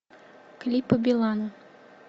клипы билана